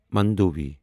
Mandovi